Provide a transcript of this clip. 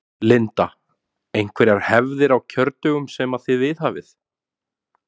Linda: Einhverjar hefðir á kjördögum sem að þið viðhafið?